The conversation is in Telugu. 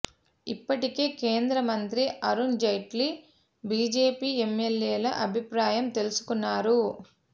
ఇప్పటికే కేంద్ర మంత్రి అరుణ్ జైట్లీ బీజేపీ ఎమ్మెల్యేల అభిప్రాయం తెలుసుకున్నారు